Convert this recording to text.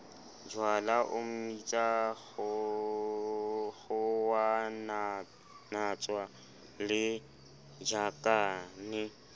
jwala o mmitsa kgowanatshwana lejakane